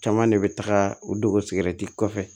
Caman de bɛ taga u dogo sigɛrɛti kɔfɛ